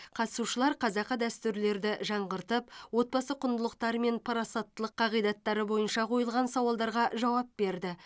қатысушылар қазақы дәстүрлерді жаңғыртып отбасы құндылықтары мен парасаттылық қағидаттары бойынша қойылған сауалдарға жауап берді